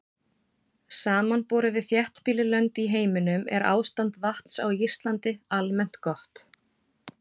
Samanborið við þéttbýlli lönd í heiminum er ástand vatns á Íslandi almennt gott.